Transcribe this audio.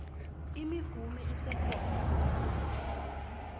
imihume isekhona nalamuhla